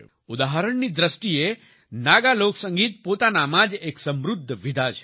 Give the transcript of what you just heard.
ઉદાહરણની દ્રષ્ટિએ નાગા લોકસંગીત પોતાનામાં જ એક સમૃદ્ધ વિધા છે